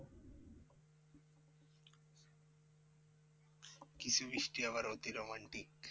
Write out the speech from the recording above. কিছু বৃষ্টি আবার অতি romantic.